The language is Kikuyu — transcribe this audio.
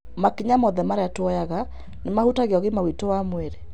Makinya mothe marĩa tuoyaga nĩ mahutagia ũgima witũ wa mwĩrĩ.